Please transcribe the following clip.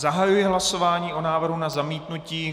Zahajuji hlasování o návrhu na zamítnutí.